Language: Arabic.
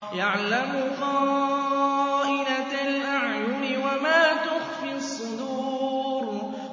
يَعْلَمُ خَائِنَةَ الْأَعْيُنِ وَمَا تُخْفِي الصُّدُورُ